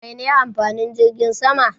Mai ne amfanin jirgin sama?